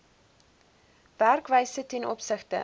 werkwyse ten opsigte